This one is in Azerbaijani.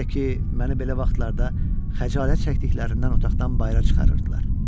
Birdə ki, məni belə vaxtlarda xəcalət çəkdiklərindən otaqdan bayıra çıxarırdılar.